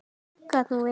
Gat nú verið